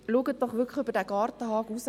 Schauen Sie wirklich über den Gartenzaun.